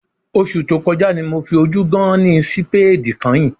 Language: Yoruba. Oṣù tó kọjá ni mo fi ojú gán-án-ní sípéèdì kányìn